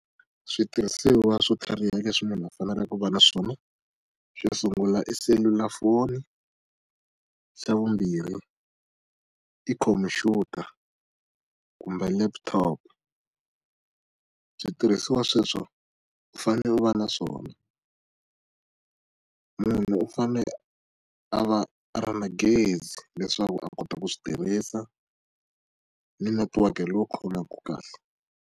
Switirhisiwa swo tlhariha leswi munhu a faneleke ku va na swona. Xo sungula i selulafoni. Xa vumbirhi, i khomphyuta kumbe laptop. Switirhisiwa sweswo u fanele u va na swona. Munhu u fanele a va a ri na gezi leswaku a kota ku swi tirhisa, ni netiweke lowu khomaka kahle.